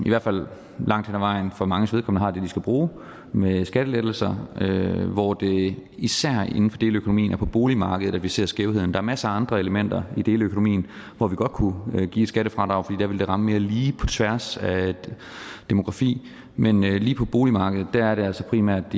langt hen ad vejen for manges vedkommende har det de skal bruge med skattelettelser hvor det især inden for deleøkonomien er på boligmarkedet vi ser skævhederne der er masser andre elementer i deleøkonomien hvor vi godt kunne give et skattefradrag for der ville det ramme mere lige på tværs af demografi men lige på boligmarkedet er det altså primært